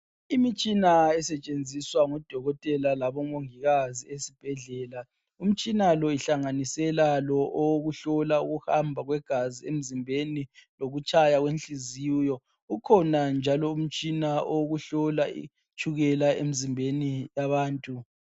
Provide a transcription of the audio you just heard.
Imitshina esetshenziswa ngudokotela labomongikazi ezibhedlela umtshina lo ihlanganisela lo owokuhlola ukuhamba kwegazi emzimbeni lokutshaya kwenhliziyo ukhona njalo umtshina owokuhlola itshukela emzimbeni yabantu